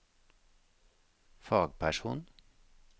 fagperson